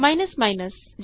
easy